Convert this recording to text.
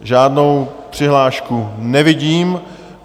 Žádnou přihlášku nevidím.